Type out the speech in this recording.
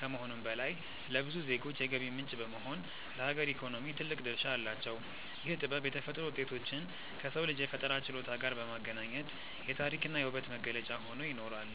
ከመሆኑም በላይ፣ ለብዙ ዜጎች የገቢ ምንጭ በመሆን ለሀገር ኢኮኖሚ ትልቅ ድርሻ አላቸው። ይህ ጥበብ የተፈጥሮ ውጤቶችን ከሰው ልጅ የፈጠራ ችሎታ ጋር በማገናኘት የታሪክና የውበት መገለጫ ሆኖ ይኖራል።